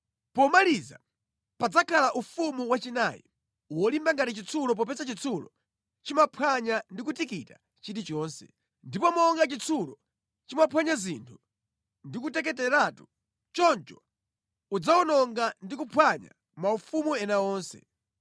Pomaliza, padzakhala ufumu wachinayi, wolimba ngati chitsulo popeza chitsulo chimaphwanya ndi kutikita chilichonse. Ndipo monga chitsulo chimaphwanya zinthu ndikuteketeratu, choncho udzawononga ndi kuphwanya maufumu ena onse.